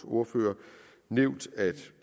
ordførere nævnt at